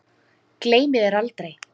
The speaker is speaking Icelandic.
Gleymi þér aldrei.